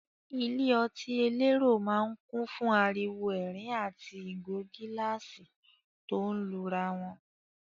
Ilé ọtí elérò máa ń kùn fún ariwo ẹ̀rín àti ìgò gíláàsì tó ń lura wọn.